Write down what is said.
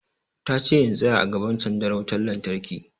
Ta ce in tsaya a gaban sandar wutan lantarki!